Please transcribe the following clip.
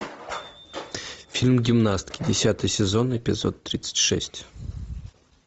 фильм гимнастки десятый сезон эпизод тридцать шесть